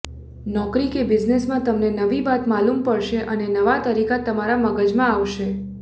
નોકરી કે બિઝનેસમાં તમને નવી વાત માલુમ પડશે અને નવા તરીકા તમારા મગજમાં આવશે